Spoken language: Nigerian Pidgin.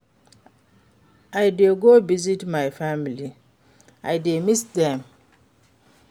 I dey go visit my family, I dey miss dem.